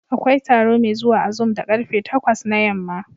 Akwai taro mai zuwa a zoom da ƙarfe takwas na yamma.